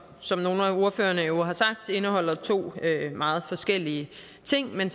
som nogle af ordførerne jo har sagt indeholder to meget forskellige ting men